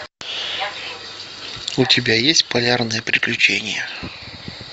у тебя есть полярное приключение